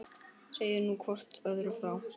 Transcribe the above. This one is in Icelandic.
Segið nú hvort öðru frá.